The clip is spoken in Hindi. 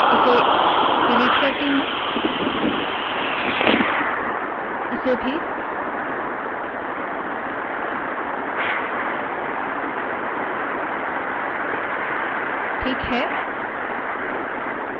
मैं इसे डिलीट करती हूँ ठीक है